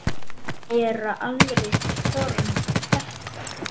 Gera aðrir form. þetta?